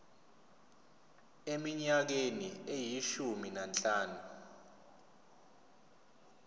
eminyakeni eyishumi nanhlanu